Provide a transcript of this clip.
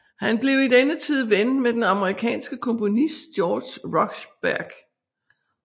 Han blev i denne tid ven med den amerikanske komponist George Rochberg